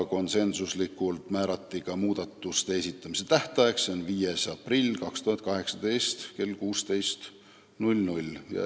Konsensuslikult määrati ka muudatusettepanekute esitamise tähtaeg, s.o 5. aprill 2018 kell 16.